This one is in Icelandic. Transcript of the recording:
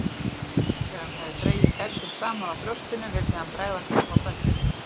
Þegar hann hafði dregið feldinn saman á brjóstinu vildi hann bregða hníf á böndin.